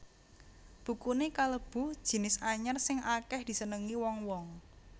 Bukuné kalebu jinis anyar sing akèh disenengi wong wong